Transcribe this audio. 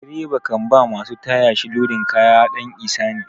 Direba kan ba masu taya shi lodin kaya ɗan ihsani.